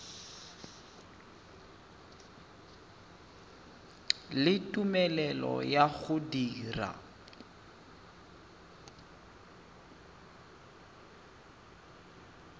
le tumelelo ya go dira